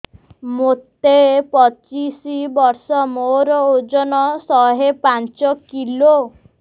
ମୋତେ ପଚିଶି ବର୍ଷ ମୋର ଓଜନ ଶହେ ପାଞ୍ଚ କିଲୋ